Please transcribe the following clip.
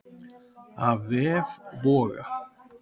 Af vef Voga